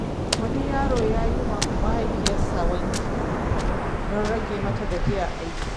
Wani yaro ya yi wa mahaifiyarsa wanki don rage mata gajiyar aiki.